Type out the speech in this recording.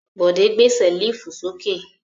Bọ̀dé gbé ṣẹ́lífù sókè.